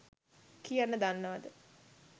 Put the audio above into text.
කියන්න දන්නවද?